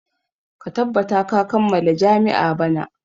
Ka tabbata ka kammala jami'a bana!